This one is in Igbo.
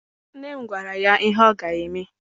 Nne m gwara ya ihe ọ ga-eme.